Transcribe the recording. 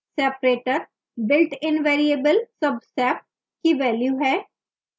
separator builtin variable subsep की value है